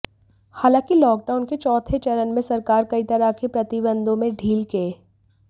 हालांकि लॉकडाउन के चौथे चरण में सरकार कई तरह के प्रतिबंधों में ढील के